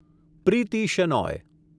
Preeti Shenoy